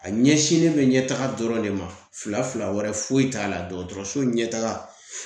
A ɲɛsinnen bɛ ɲɛtaga dɔrɔn de ma fila fila wɛrɛ foyi t'a la dɔgɔtɔrɔso ɲɛtaga .